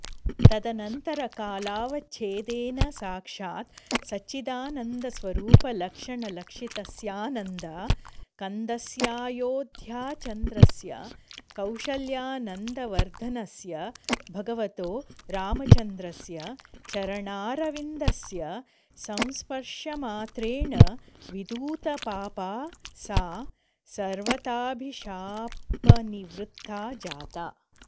तदनन्तरकालावच्छेदेन साक्षात् सच्चिदानन्दस्वरूपलक्षणलक्षितस्याऽऽनन्द कन्दस्याऽयोध्याचन्द्रस्य कौशल्यानन्दवर्धनस्य भगवतो रामचन्द्रस्य चरणारविन्द स्य संस्पर्शमात्रेण विधूतपापा सा सर्वथाऽभिशापनिवृत्ता जाता